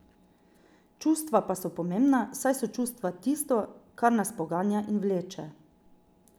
Čustva pa so pomembna, saj so čustva tisto, kar nas poganja in vleče.